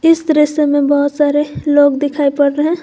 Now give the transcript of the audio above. इस दृश्य में बहुत सारे लोग दिखाई पड़ रहे हैं।